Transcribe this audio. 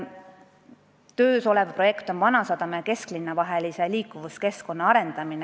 Töös on projekt "Vanasadama ja kesklinna vahelise liikuvuskeskkonna arendamine".